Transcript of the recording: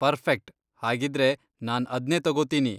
Perfect! ಹಾಗಿದ್ರೆ ನಾನ್ ಅದ್ನೇ ತಗೋತೀನಿ.